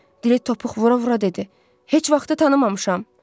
Dili topuq vura-vura dedi, heç vaxtı tanımamışam.